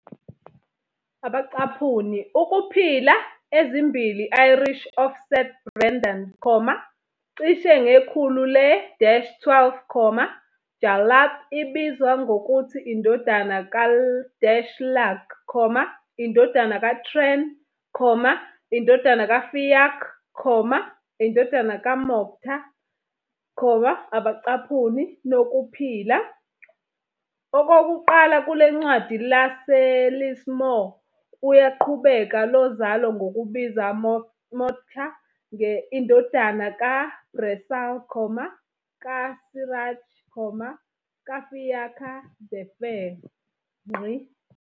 "Ukuphila" ezimbili Irish of St Brendan, cishe ngekhulu le-12, Jarlath ibizwa ngokuthi indodana ka-Lug, indodana ka tren, indodana ka Fiacc, indodana ka Mochta, "Nokuphila" Okokuqala kule Ncwadi laseLismore uyaqhubeka lozalo ngokubiza Mochta indodana kaBresal, kaSiracht, kaFiacha the Fair.